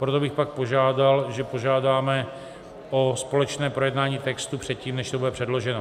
Proto bych pak požádal, že požádáme o společné projednání textu předtím, než to bude předloženo.